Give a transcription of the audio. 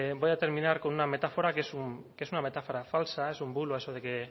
voy a terminar con una metáfora que es una metáfora falsa es un bulo eso de que